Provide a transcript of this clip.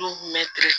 Du kun bɛ ten